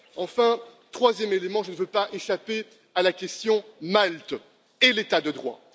Enfin, troisième élément je ne veux pas éluder la question de Malte et de l'état de droit.